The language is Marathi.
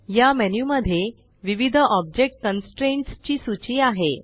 या मेन्यू मध्ये विविध ऑब्जेक्ट कन्स्ट्रेंट्स ची सूची आहे